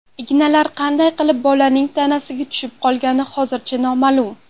Ignalar qanday qilib bolaning tanasiga tushib qolgani hozircha noma’lum.